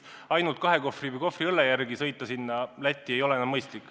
Ainult ühe või kahe kohvri õlle järele Lätti sõita ei ole enam mõistlik.